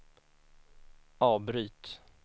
avbryt